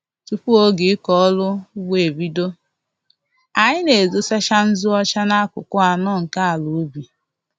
Tupu oge ịkọ ọrụ ugbo ebido, anyị na-edosacha nzụ ọcha n'akụkụ anọ nke ala ubi